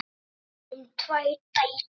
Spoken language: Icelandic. Þar fæddust þeim tvær dætur.